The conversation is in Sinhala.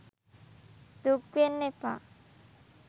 දුක් වෙන්න එපා